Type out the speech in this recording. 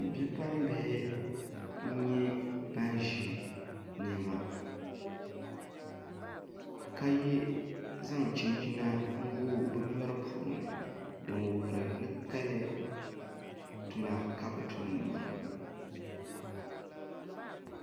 Bipuɣunbihi n nyɛ ban ʒi niɛma ka zaŋ chinchina n gooi bi nyori puuni n wuhuri ni kali tuma ka bi tumdi maa